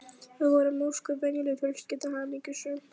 Við vorum ósköp venjuleg fjölskylda, hamingjusöm.